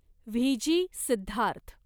VJ Siddharth